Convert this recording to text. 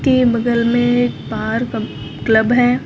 ये बगल में एक पार्क क्लब है।